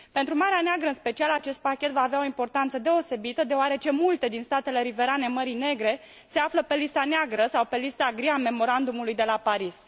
Pentru Marea Neagră, în special, acest pachet va avea o importanță deosebită, deoarece multe din statele riverane Mării Negre se află pe lista neagră sau pe lista gri a Memorandumului de la Paris.